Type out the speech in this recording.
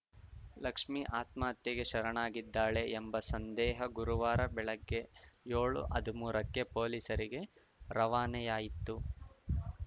ಲಕ್ಷ್ಮಿ ಆತ್ಮಹತ್ಯೆಗೆ ಶರಣಾಗಿದ್ದಾಳೆ ಎಂಬ ಸಂದೇಹ ಗುರುವಾರ ಬೆಳಗ್ಗೆ ಯೋಳುಹದ್ಮೂರಕ್ಕೆ ಪೊಲೀಸರಿಗೆ ರವಾನೆಯಾಯಿತು